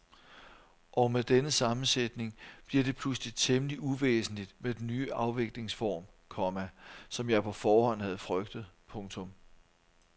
Og med denne sammensætning bliver det pludselig temmelig uvæsentligt med den ny afviklingsform, komma som jeg på forhånd havde frygtet. punktum